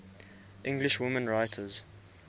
english women writers